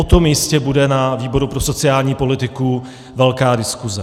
O tom jistě bude ve výboru pro sociální politiku velká diskuse.